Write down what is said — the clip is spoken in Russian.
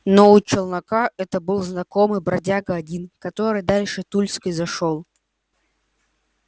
но у челнока этого был знакомый бродяга один который дальше тульской зашёл